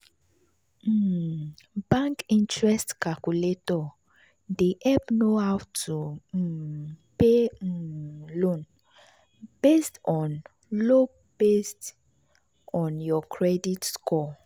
um bank interest calculator dey help know how to um pay um loan based on loan based on your credit score.